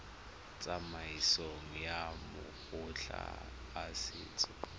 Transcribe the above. tsamaisong ya makgotla a setso